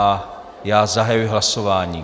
A já zahajuji hlasování.